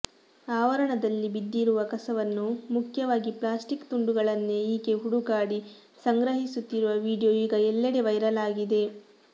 ಆವರಣದಲ್ಲಿ ಬಿದ್ದಿರುವ ಕಸವನ್ನು ಮುಖ್ಯವಾಗಿ ಪ್ಲಾಸ್ಟಿಕ್ ತುಂಡುಗಳನ್ನೇ ಈಕೆ ಹುಡುಕಾಡಿ ಸಂಗ್ರಿಹಿಸುತ್ತಿರುವ ವಿಡಿಯೋ ಈಗ ಎಲ್ಲೆಡೆ ವೈರಲ್ ಆಗಿದೆ